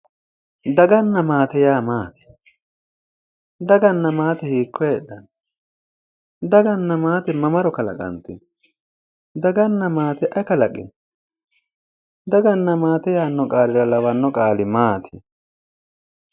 daganna maate yaa maati? daganna maate hiikko heedhaho? daganna maate mamaro kalaqanteho? daganna maate ayi kalaqino? daganna maate yaanno qaalira lawanno qaali maati?